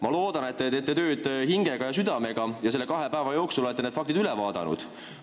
Ma loodan, et te teete tööd hingega ja südamega ning olete kahe päeva jooksul need faktid üle vaadanud.